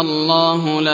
اللَّهُ لَا